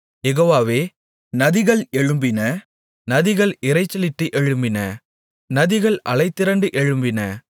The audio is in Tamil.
யெகோவாவே நதிகள் எழும்பின நதிகள் இரைச்சலிட்டு எழும்பின நதிகள் அலைதிரண்டு எழும்பின